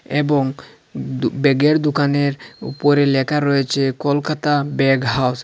এবং দু-ব্যাগের দোকানের উপরে লেখা রয়েছে কলকাতা ব্যাগ হাউস ।